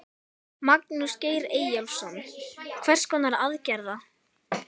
Magnús Geir Eyjólfsson: Hvers konar aðgerða?